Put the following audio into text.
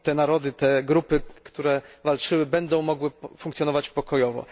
Ten narody, te grupy, które walczyły, będą mogły funkcjonować pokojowo.